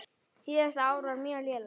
Síðasta ár var mjög lélegt.